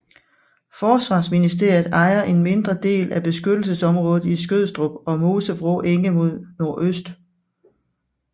Forsvarsministeriet ejer en mindre del af beskyttelsesområdet i Skødstrup og Mosevrå Enge mod nordøst